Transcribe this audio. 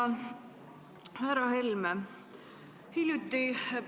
Jah, tänan!